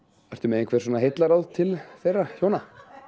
ertu með einhver heillaráð til þeirra hjóna